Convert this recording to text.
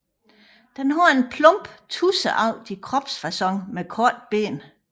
Den har en plump tudseagtig kropsfacon med korte ben